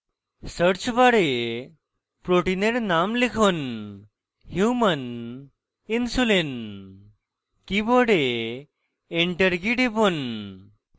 search বারে protein name লিখুন human insulin কীবোর্ডের enter key টিপুন